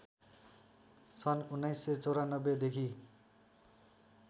सन् १९९४ देखि